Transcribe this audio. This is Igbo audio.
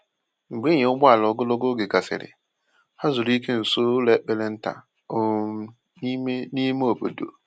Mgbe ịnya ụgbọala ogologo oge gasịrị, ha zuru ike nso ụlọ ekpere nta um n’ime ime obodo.